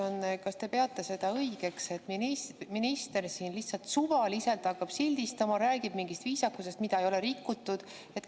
Kas te peate seda õigeks, et minister hakkab siin lihtsalt suvaliselt sildistama, räägib mingist viisakusest, mida ei ole rikutud.